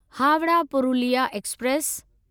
Howrah Purulia express